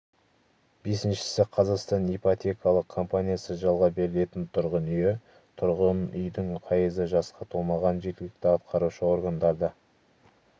бесіншісі қазақстан ипотекалық компаниясы жалға берілетін тұрғын үйі тұрғын үйдің пайызы жасқа толмаған жергілікті атқарушы органдарда